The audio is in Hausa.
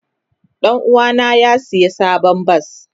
Danuwa na ya siya sabon bas.